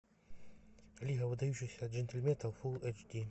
лига выдающихся джентльменов фулл эйч ди